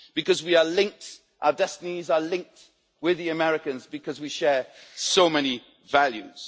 Because we are linked our destinies are linked with the Americans' because we share so many values.